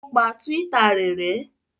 O pa Twitter rẹ̀ rẹ́?